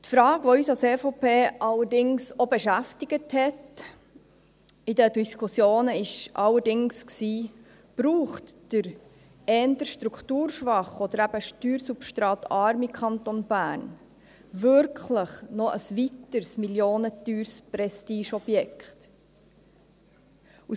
Die Frage, welche uns als EVP in den Diskussionen auch beschäftigt hat, war allerdings, ob der eher strukturschwache oder eben steuersubstratarme Kanton Bern wirklich noch ein weiteres millionenteures Prestigeobjekt braucht.